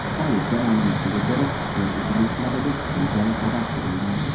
Politsiya ma’lumotiga ko‘ra, yer o‘pirilishlariga kuchli jala sababchi bo‘lgan.